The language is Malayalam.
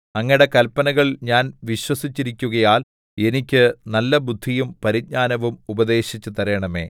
അങ്ങയുടെ കല്പനകൾ ഞാൻ വിശ്വസിച്ചിരിക്കുകയാൽ എനിക്ക് നല്ലബുദ്ധിയും പരിജ്ഞാനവും ഉപദേശിച്ചു തരണമേ